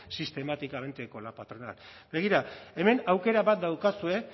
sistemáticamente con la patronal begira hemen aukera bat daukazue